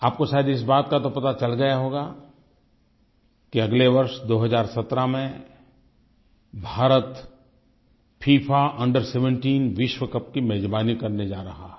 आपको शायद इस बात का तो पता चल गया होगा कि अगले वर्ष 2017 में भारत फिफा अंडर 17 विश्वकप की मेज़बानी करने जा रहा है